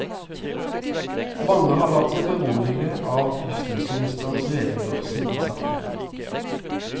Mange har latt seg berolige av justisministerens redegjørelse i saken.